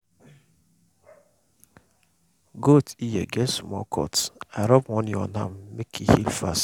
goat ear get small cut i rub honey on am make e heal fast.